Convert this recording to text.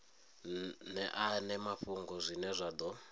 ṅeane mafhungo zwine zwa ḓo